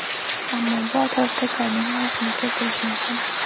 Ammo bu atrofdagilarning g‘ashini keltirish mumkin.